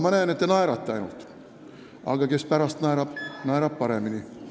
Ma näen, et te ainult naerate, aga kes pärast naerab, naerab paremini.